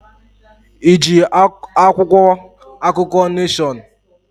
Iji akwụkwọ akụkọ Neshọn?